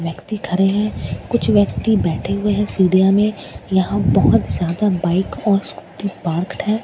व्यक्ति खड़े हैं कुछ व्यक्ति बैठे हुए हैं में यहां बहुत ज्यादा बाइक और स्कूटी पार्कड है।